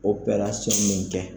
min kɛ.